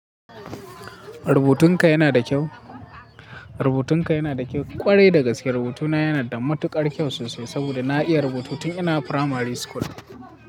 Rubutunka yana da kyau. Rubutunka yana da kyau. Kwarai dagaske rubutuna yana da matuƙar kyau sosai saboda na iya rubutu tun ina firamari school.